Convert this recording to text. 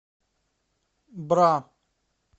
бра